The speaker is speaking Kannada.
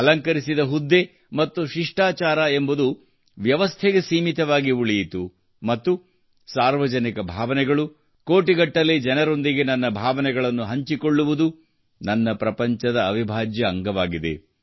ಅಲಂಕರಿಸಿದ ಹುದ್ದೆ ಮತ್ತು ಶಿಷ್ಟಾಚಾರ ಎಂಬುದು ವ್ಯವಸ್ಥೆಗೆ ಸೀಮಿತವಾಗಿ ಉಳಿಯಿತು ಮತ್ತು ಸಾರ್ವಜನಿಕ ಭಾವನೆಗಳು ಕೋಟಿಗಟ್ಟಲೆ ಜನರೊಂದಿಗೆ ನನ್ನ ಭಾವನೆಗಳನ್ನು ಹಂಚಿಕೊಳ್ಳುವುದು ನನ್ನ ಪ್ರಪಂಚದ ಅವಿಭಾಜ್ಯ ಅಂಗವಾಗಿದೆ